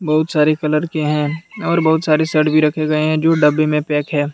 बहुत सारे कलर के हैं और बहुत सारे शर्ट भी रखे गए है जो डब्बे में पैक है।